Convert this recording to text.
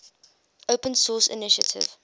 open source initiative